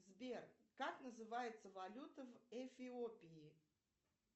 сбер как называется валюта в эфиопии